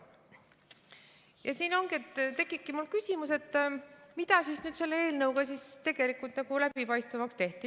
Ja siin tekibki mul küsimus, et mida siis nüüd selle eelnõuga tegelikult läbipaistvamaks tehti.